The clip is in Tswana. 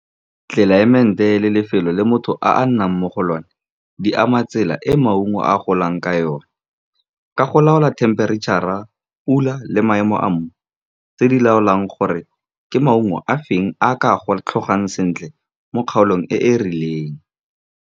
Tlelaemete le lefelo le motho a a nnang mo go lone, di ama tsela e maungo a golang ka yone ka go laola themperetšhara, pula le maemo a mmu, tse di laolang gore ke maungo a feng a ka tlhogang sentle mo kgaolong e e rileng.